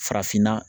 Farafinna